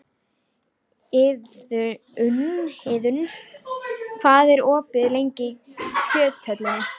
Iðunn, hvað er opið lengi í Kjöthöllinni?